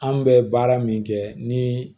An bɛ baara min kɛ ni